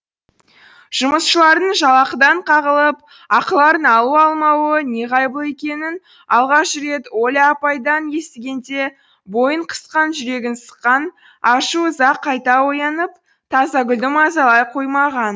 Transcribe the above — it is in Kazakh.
жұмысшылардың жалақыдан қағылып ақыларын алу алмауы неғайбыл екенін алғаш рет оля апайдан естігенде бойын қысқан жүрегін сыққан ашу ыза қайта оянып тазагүлді мазалай қоймаған